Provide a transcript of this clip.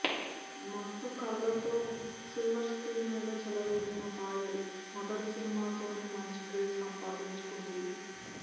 మత్తు కళ్ళతో silver screen మీద చెలరేగిన పాయల్ మొదటి సినిమాతోనే మంచి క్రేజ్ సంపాదించుకుంది